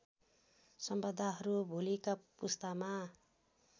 सम्पदाहरू भोलिका पुस्तामा